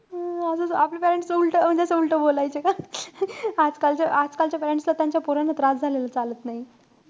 हम्म अजून आपले parents तर उलटं म्हणजे असं उलटं बोलायचे. आजकालच्या~ आजकालच्या parents ला त्यांच्या पोरांना त्रास झालेला चालत नाई.